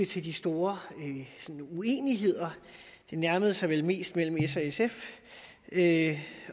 til de store uenigheder det nærmede sig vel mest mellem s og sf